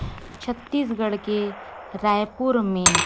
छत्तीसगढ़ के रायपुर में--